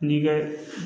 N'i ka